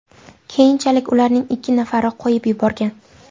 Keyinchalik ularning ikki nafarini qo‘yib yuborgan.